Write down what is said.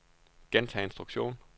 gentag instruktion